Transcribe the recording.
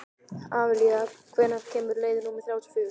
Amalía, hvenær kemur leið númer þrjátíu og fjögur?